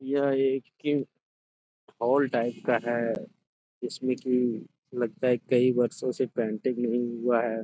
यह एक किम हॉल टाइप का है। उसमें कि लगता है कई वर्षों से पेंटिंग नहीं हुआ है ।